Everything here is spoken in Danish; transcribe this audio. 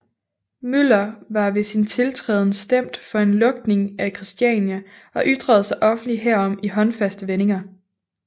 Møller var ved sin tiltræden stemt for en lukning af Christiania og ytrede sig offentligt herom i håndfaste vendinger